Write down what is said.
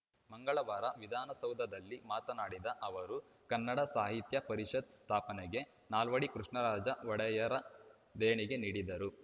ಮಂಗಳವಾರ ವಿಧಾನಸೌಧದಲ್ಲಿ ಮಾತನಾಡಿದ ಅವರು ಕನ್ನಡ ಸಾಹಿತ್ಯ ಪರಿಷತ್‌ ಸ್ಥಾಪನೆಗೆ ನಾಲ್ವಡಿ ಕೃಷ್ಣರಾಜ ಒಡೆಯರ್‌ ದೇಣಿಗೆ ನೀಡಿದ್ದರು